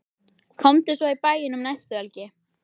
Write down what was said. Komdu svo í bæinn um næstu helgi.